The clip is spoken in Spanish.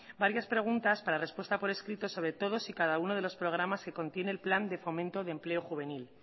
varias preguntas para respuesta por escrito sobre todos y cada uno de los programas que contiene en plan de fomento de empleo juvenil